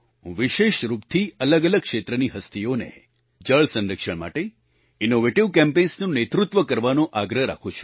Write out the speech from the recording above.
હું વિશેષ રૂપથી અલગઅલગ ક્ષેત્રની હસ્તીઓને જળ સંરક્ષણ માટે ઇનોવેટિવ કેમ્પેન્સ નું નેતૃત્વ કરવાનો આગ્રહ રાખું છું